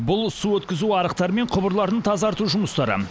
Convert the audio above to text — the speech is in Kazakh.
бұл су өткізу арықтары мен құбырларын тазарту жұмыстары